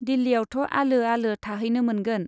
दिल्लीयावथ' आलो आलो थाहैनो मोनगोन।